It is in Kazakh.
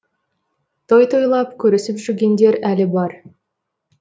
той тойлап көрісіп жүргендер әлі бар